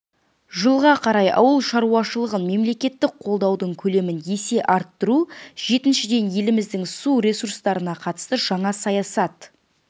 жылға қарай ауыл шаруашылығын мемлекеттік қолдаудың көлемін есе арттыру жетіншіден еліміздің су ресурстарына қатысты жаңа саясат